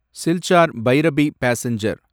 Silchar Bairabi passenger